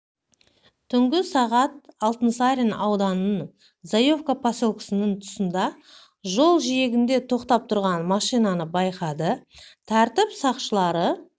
түнгі сағат алтынсарин ауданының зуевка поселкесінің тұсында жол жиегінде тоқтап тұрған машинаны байқады тәртіп сақшылары